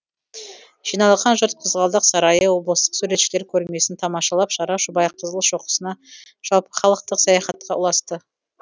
жиналған жұрт қызғалдақ сарайы облыстық суретшілер көрмесін тамашалап шара шұбайқызыл шоқысына жалпыхалықтық саяхатқа ұласты